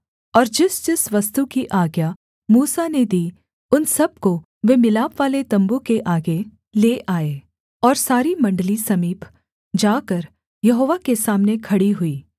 और जिसजिस वस्तु की आज्ञा मूसा ने दी उन सब को वे मिलापवाले तम्बू के आगे ले आए और सारी मण्डली समीप जाकर यहोवा के सामने खड़ी हुई